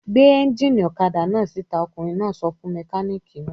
"Gbé ẹ́ńjínì ọ̀kadà náà síta!" Ọkùnrin náà sọ fún mẹkáníkì náà.